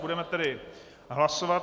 Budeme tedy hlasovat.